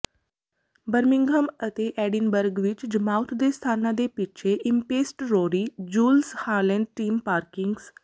Birmingham ਅਤੇ Edinburgh ਵਿੱਚ ਜਮਾਊਥ ਦੇ ਸਥਾਨਾਂ ਦੇ ਪਿੱਛੇ ਇਮਪੇਸਟਰੋਰੀ ਜੁਲਸ ਹਾਲੈਂਡ ਟਿਮ ਪਾਰਕਿੰਸਨ